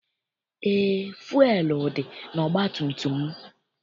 Eé, fụelụ dị n'ọgbatumtum m.